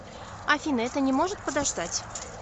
афина это не может подождать